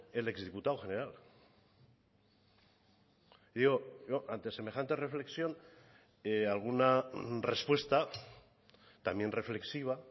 el ex diputado general yo ante semejante reflexión alguna respuesta también reflexiva